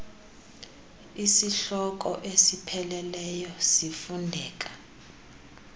isihloko esipheleleyo sifundeka